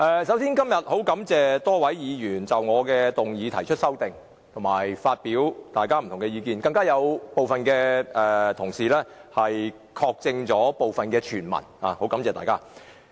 首先，十分感謝多位議員就我的議案提出修正案和各抒己見，更有同事確證了部分傳聞，十分感謝大家。